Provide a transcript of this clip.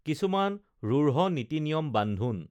কিছুমান ৰুঢ় নীতি নিয়ম বান্ধোন